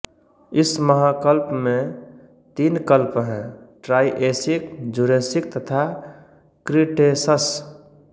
इस महाकल्प में तीन कल्प हैं ट्राइऐसिक जुरैसिक तथा क्रिटैशस